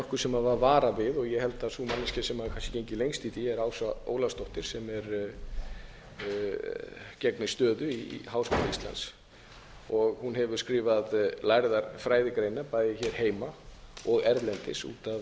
nokkuð sem var varað við ég held að sú manneskja sem hefur gengið hvað lengst í því er ása ólafsdóttir sem gegnir stöðu í háskóla íslands hún hefur skrifað lærðar fræðigreinar bæði hér heima og erlendis út af